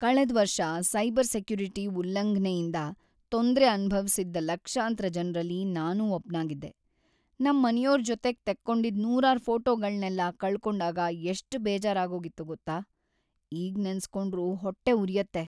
ಕಳೆದ್ವರ್ಷ cyber security ಉಲ್ಲಂಘ್ನೆಯಿಂದ ತೊಂದ್ರೆ ಅನುಭವ್ಸಿದ್ದ ಲಕ್ಷಾಂತ್ರ ಜನ್ರಲ್ಲಿ ನಾನೂ ಒಬ್ನಾಗಿದ್ದೆ, ನಮ್‌ ಮನೆಯೋರ್‌ ಜೊತೆಗ್ ತೆಕ್ಕೊಂಡಿದ್‌ ನೂರಾರ್‌ ಫೋಟೋಗಳ್ನೆಲ್ಲ ಕಳ್ಕೊಂಡಾಗ ಎಷ್ಟ್‌ ಬೇಜಾರಾಗೋಗಿತ್ತು ಗೊತ್ತಾ, ಈಗ್‌ ನೆನ್ಸ್‌ಕೊಂಡ್ರೂ ಹೊಟ್ಟೆ ಉರ್ಯುತ್ತೆ.